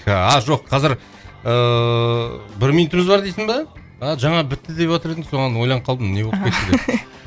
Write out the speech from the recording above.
а жоқ қазір ыыы бір минутымыз бар дейсің ба а жаңа бітті деватыр едің соған ойланып қалдым не боп кетті деп